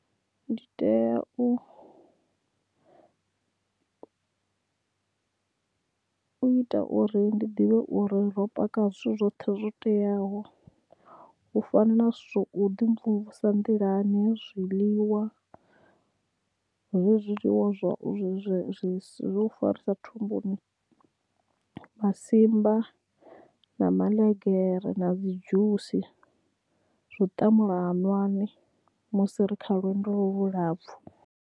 Ndi tea u ita uri ndi ḓivhe uri ro paka zwithu zwoṱhe zwo teaho u fana na zwithu u ḓi mvumvusa nḓilani zwiḽiwa zwezwi zwiḽiwa zwa u ḓi farisa thumbuni masimba na maḽegere na dzi dzhusi zwa u ṱamula hanwani musi ri kha lwendo lu lapfhu.